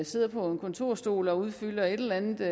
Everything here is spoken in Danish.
sidder på en kontorstol og udfylder et eller andet